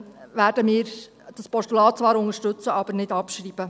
Wir werden dieses Postulat zwar unterstützen, aber nicht abschreiben.